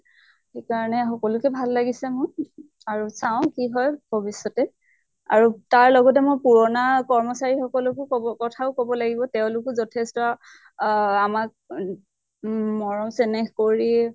সেই কাৰণে সকলোকে ভাল লাগিছে মোৰ, আৰু চাওঁ কি হয় ভ্ৱিষ্য়তে। আৰু তাৰ লগতে মই পুৰণা কৰ্মচাৰী সকলোকো কব কথাও কব লাগিব। তেওঁলোকো যথেষ্ট আহ আমাক উ উম মৰম চেনেহ কৰি